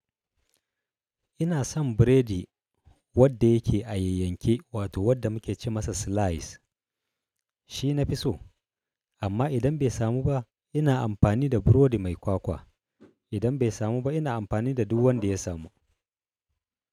Ina son biredi wadda yake a yayyanke wato wadda muke ce masa slice. Shi na fi so amma idan bai samu ba ina amfani da burodi mai kwakwa. Idan bai samu ba ina amfani da duk wanda ya samu.